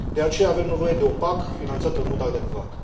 De aceea, avem nevoie de o PAC finanțată în mod adecvat.